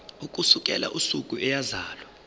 ukusukela usuku eyazalwa